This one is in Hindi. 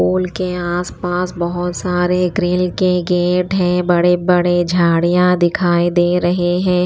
पूल के आसपास बहुत सारे ग्रिल के गेट हैं बड़े-बड़े झाड़ियां दिखाई दे रहे हैं।